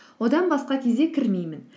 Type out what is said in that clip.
одан басқа кезде кірмеймін